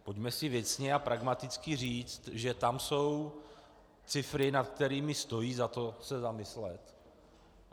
Pojďme si věcně a pragmaticky říct, že tam jsou cifry, nad kterými stojí za to se zamyslet.